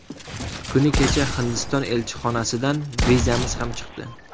Kuni kecha Hindiston elchixonasidan vizamiz ham chiqdi.